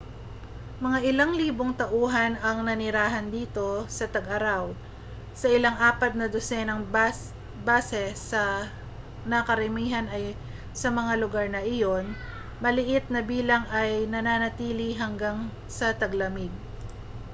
mga ilang libong tauhan ang naninirahan dito sa tag-araw sa ilang apat na dosenang base na karamihan ay sa mga lugar na iyon maliit na bilang ay nananatili hanggang sa taglamig